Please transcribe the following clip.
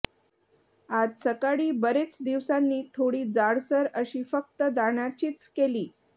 आज सकाळी बरेच दिवसांनी थोडी जाडसर अशी फक्त दाण्याचीच केली